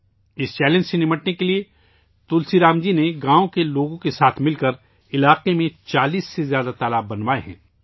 اس challenge پر قابو پانے کے لیے تلسی رام جی نے گاؤں کے لوگوں کو ساتھ لے کر علاقے میں 40 سے زیادہ تالاب بنوائے ہیں